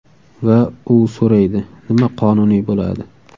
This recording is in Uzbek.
Va u so‘raydi: nima qonuniy bo‘ladi?